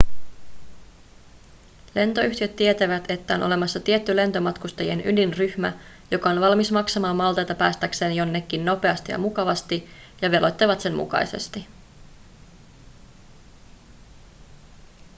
lentoyhtiöt tietävät että on olemassa tietty lentomatkustajien ydinryhmä joka on valmis maksamaan maltaita päästäkseen jonnekin nopeasti ja mukavasti ja veloittavat sen mukaisesti